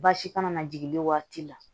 Baasi kana na jigin waati la